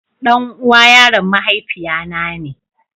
Ɗan'uwa yaron mahaifiya na ne.